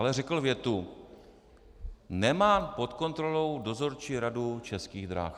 Ale řekl větu: "Nemám pod kontrolou dozorčí radu Českých drah."